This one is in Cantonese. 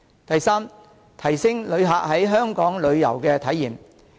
第三，提升旅客在香港的旅遊體驗。